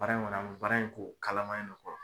Baara in kɔnɔ baara in kɛ o kalama in ne kɔrɔ